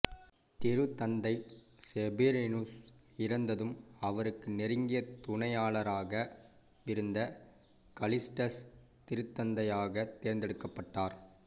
திருத்தந்தை செஃபிரீனுஸ் இறந்ததும் அவருக்கு நெருங்கிய துணையாளராகவிருந்த கலிஸ்டஸ் திருத்தந்தையாகத் தேர்ந்தெடுக்கப்பட்டார்